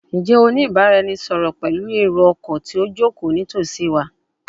Njẹ o ni ibaraẹnisọrọ pẹlu ero-ọkọ ti o joko nitosi wa?